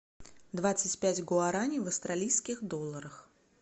двадцать пять гуарани в австралийских долларах